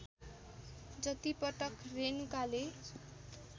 जतिपटक रेणुकाले